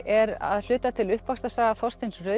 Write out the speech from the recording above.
er að hluta til uppvaxtarsaga Þorsteins